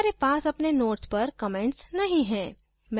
हमारे पास अपने nodes पर comments नहीं हैं